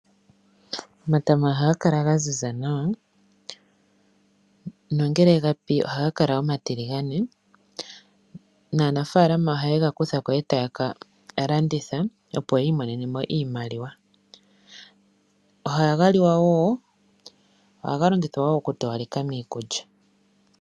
Omatama oha ga kala gaziza nawa, nongele gapi ohagakala omatiligane, naa nafaalama ohayegakutha ko etaya kalanditha opo yiimonene oshimaliwa, oha ga liwa wo, go ohagalongithwa okutowaleka miikulya.